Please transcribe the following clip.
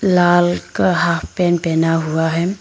लाल का half pant पहना हुआ है।